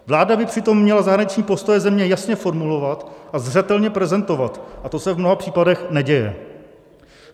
Vláda by přitom měla zahraniční postoje země jasně formulovat a zřetelně prezentovat a to se v mnoha případech neděje.